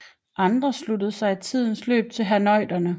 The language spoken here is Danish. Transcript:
Andre sluttede sig i tidens løb til herrnhuterne